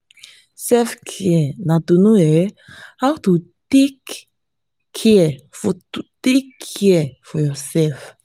selfcare na to know um how to take care for take care for yourself